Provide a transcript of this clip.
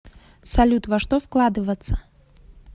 салют во что вкладываться